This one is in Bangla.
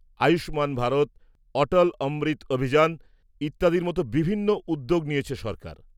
-আয়ুষ্মান ভারত, অটল অমৃত অভিযান, ইত্যাদির মতো বিভিন্ন উদ্যোগ নিয়েছে সরকার।